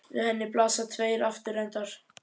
Við henni blasa tveir aftur endar.